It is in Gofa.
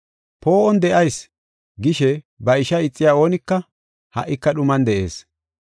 “Poo7on de7ayis” gishe ba ishaa ixiya oonika, ha77ika dhuman de7ees.